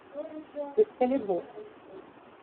экскалибур